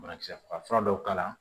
Banakisɛ faga fura dɔw k'a la